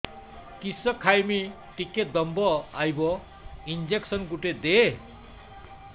କିସ ଖାଇମି ଟିକେ ଦମ୍ଭ ଆଇବ ଇଞ୍ଜେକସନ ଗୁଟେ ଦେ